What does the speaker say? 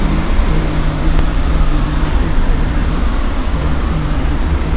ओऊ ए मंदील ला बहुत डिजाइन से सजाए हे इ बड़ सुन्दर दिखत हे।